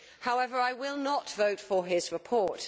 However, I will not vote for his report.